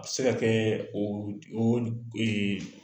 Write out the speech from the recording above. A bi se ka kɛ